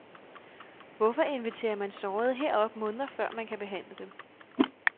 Hvorfor inviterer man sårede herop måneder før man kan behandle dem?